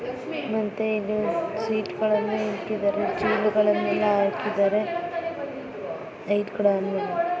ಮತ್ತೆ ಇಲ್ಲಿ ಸ್ವೀಟ್ಗಳ್ ಎಲ್ಲ ಇಟ್ಟಿದರೆ ಚೇರುಗಳನ್ನೆಲ್ಲ ಆಕಿದಾರೆ ಲೈಟ್ ಕೂಡ ಆನ್ ಮಾಡಿದರೆ.